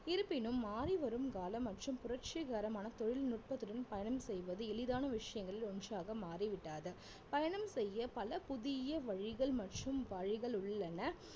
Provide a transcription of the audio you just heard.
இருப்பினும் மாறிவரும் காலம் மற்றும் புரட்சிகரமான தொழில்நுட்பத்துடன் பயணம் செய்வது எளிதான விஷயங்களில் ஒன்றாக மாறிவிட்டது பயணம் செய்ய பல புதிய வழிகள் மற்றும் வழிகள் உள்ளன